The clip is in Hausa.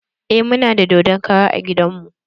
Eh muna da dodon kara a gidan mu.